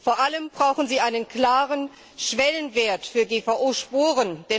Vor allem brauchen sie einen klaren Schwellenwert für GVO Spuren.